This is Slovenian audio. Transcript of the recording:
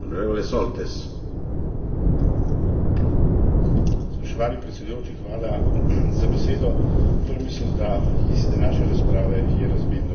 Torej mislim, da iz današnje razprave je razvidno, da bo prišlo do potrditve predloga za spremembo večletnega finančnega okvira.